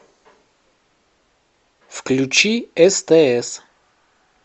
включи стс